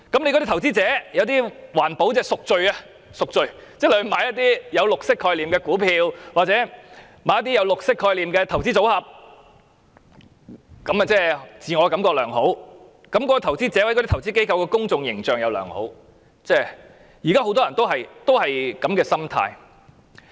有些投資者是為了環保"贖罪"，即購買一些具綠色概念的股票或綠色概念的投資組合，令自我感覺良好，而那些投資者或投資機構的公眾形象也良好，現在很多人也有這樣的心態。